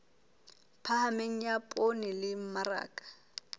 phahameng ya poone le mmaraka